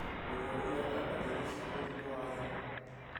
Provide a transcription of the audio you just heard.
Mũrwaru ena ndariri cia mũrimũ wa higo